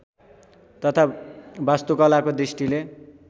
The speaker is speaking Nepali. तथा वास्तुकलाको दृष्टिले